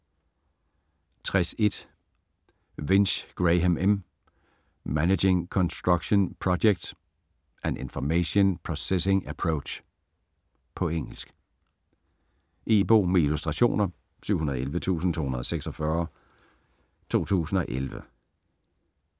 60.1 Winch, Graham M.: Managing construction projects: an information processing approach På engelsk. E-bog med illustrationer 711246 2011.